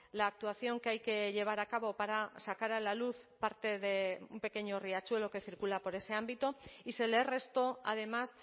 la actuación que hay que llevar a cabo para sacar a la luz parte de un pequeño riachuelo que circula por ese ámbito y se le restó además